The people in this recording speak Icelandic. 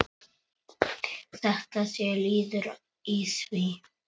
Þetta sé liður í því.